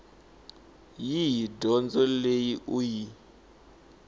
yihi dyondzo leyi u yi